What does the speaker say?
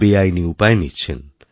বেআইনী উপায় নিচ্ছেন